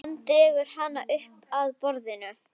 Hann pissaði þá ekki á meðan í skó móður hans.